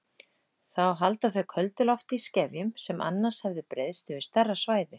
Þá halda þau köldu lofti í skefjum sem annars hefði breiðst yfir stærra svæði.